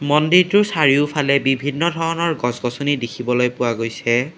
মন্দিৰটোৰ চাৰিওফালে বিভিন্ন ধৰণৰ গছ-গছনি দেখিবলৈ পোৱা গৈছে।